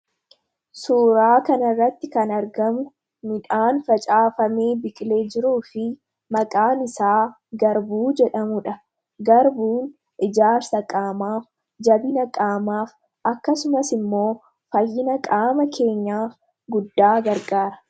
Suuraa kana irratti kan argamu midhaan facaafamee biqilee jiruu fi maqaan isaa garbuu jedhamuudhaG garbuun ijaarsa qaamaaf jabina qaamaaf akkasumas immoo fayyina qaama keenyaaf guddaa gargaara.